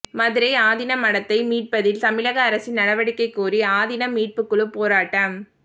மதுரை ஆதீன மடத்தை மீட்பதில் தமிழக அரசின் நடவடிக்கை கோரி ஆதீனம் மீட்பு குழு போராட்டம்